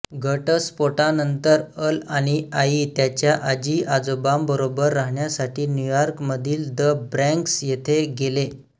घटस्फोटानंतर Al आणि आई त्याच्या आजीआजोबांबरोबर राहण्यासाठी न्यूयॉर्कमधील द ब्रॉन्क्स इथे गेले